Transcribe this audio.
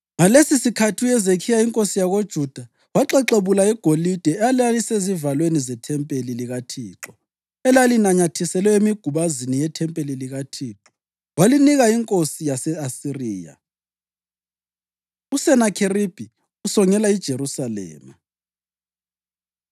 Ngalesisikhathi uHezekhiya inkosi yakoJuda waxexebula igolide elalisezivalweni zethempeli likaThixo lelalinanyathiselwe emigubazini yethempeli likaThixo, walinika inkosi yase-Asiriya. USenakheribhi Usongela IJerusalema